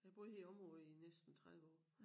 Jeg har boet her i æ område i næsten 30 år